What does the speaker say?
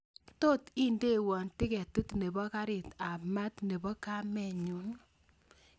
Tot indewon tiketit nebo karit ab maat nebo kamenyun